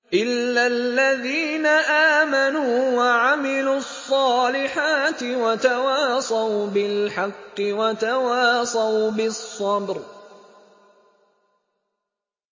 إِلَّا الَّذِينَ آمَنُوا وَعَمِلُوا الصَّالِحَاتِ وَتَوَاصَوْا بِالْحَقِّ وَتَوَاصَوْا بِالصَّبْرِ